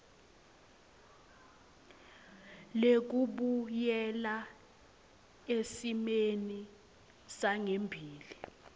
lekubuyela esimeni sangembili